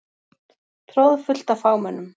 Troðfullt af fagmönnum.